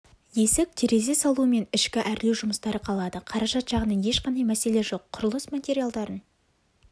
есік терезе салу мен ішкі әрлеу жұмыстары қалады қаражат жағынан ешқандай мәселе жоқ құрылыс материалдарын